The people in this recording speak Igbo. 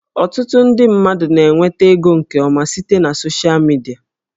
Ọtụtụ ndị mmadụ na-enweta ego nke ọma site na soshịa midia